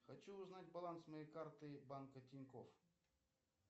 хочу узнать баланс моей карты банка тинькофф